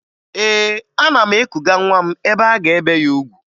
Ee, ana m ekuga nwa m ebe a ga-ebe ya ugwu